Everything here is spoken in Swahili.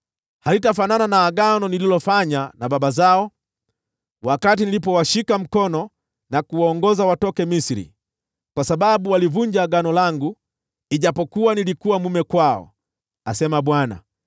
Halitafanana na agano nililofanya na baba zao wakati nilipowashika mkono kuwaongoza watoke Misri, kwa sababu walivunja agano langu, ijapokuwa nilikuwa mume kwao,” asema Bwana .